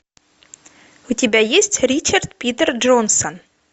у тебя есть ричард питер джонсон